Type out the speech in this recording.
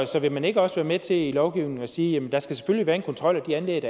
så vil man ikke også være med til i lovgivningen at sige at der selvfølgelig skal være en kontrol af de anlæg